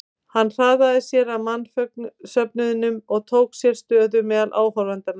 Hann hraðaði sér að mannsöfnuðinum og tók sér stöðu meðal áhorfendanna.